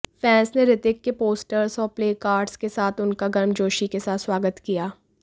fans ने ऋतिक के posters और प्लेकार्डस के साथ उनका गर्मजोशी के साथ स्वागत किया